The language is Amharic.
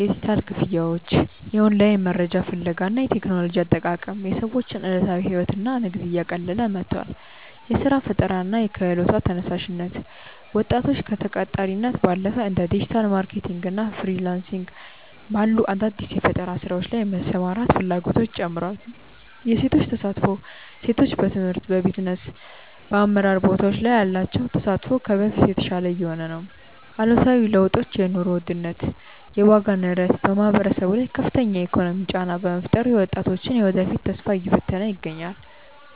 የዲጂታል ክፍያዎች፣ የኦንላይን መረጃ ፍለጋ እና የቴክኖሎጂ አጠቃቀም የሰዎችን ዕለታዊ ሕይወትና ንግድ እያቀለለ መጥቷል። የሥራ ፈጠራና የክህሎት ተነሳሽነት፦ ወጣቶች ከተቀጣሪነት ባለፈ እንደ ዲጂታል ማርኬቲንግ እና ፍሪላንስ ባሉ አዳዲስ የፈጠራ ሥራዎች ላይ የመሰማራት ፍላጎታቸው ጨምሯል። የሴቶች ተሳትፎ፦ ሴቶች በትምህርት፣ በቢዝነስና በአመራር ቦታዎች ላይ ያላቸው ተሳትፎ ከበፊቱ የተሻለ እየሆነ ነው። አሉታዊ ለውጦች የኑሮ ውድነት፦ የዋጋ ንረት በማህበረሰቡ ላይ ከፍተኛ የኢኮኖሚ ጫና በመፍጠሩ የወጣቶችን የወደፊት ተስፋ እየፈተነ ይገኛል።